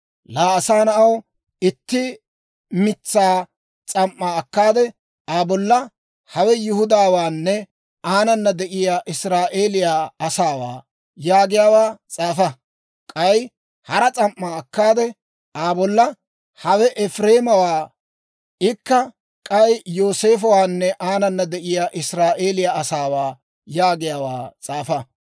«Laa asaa na'aw, itti mitsaa S'am"aa akkaade, Aa bolla, ‹Hawe Yihudaawaanne aanana de'iyaa Israa'eeliyaa asaawaa› yaagiyaawaa s'aafa. K'ay hara S'am"aa akkaade, Aa bolla, ‹Hawe Efireemawaa; ikka k'ay Yooseefowaanne aanana de'iyaa Israa'eeliyaa asaawaa› yaagiyaawaa s'aafa.